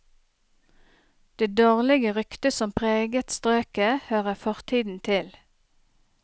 Det dårlige ryktet som preget strøket, hører fortiden til.